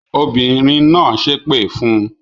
Obìnrin náà ṣépè fún un?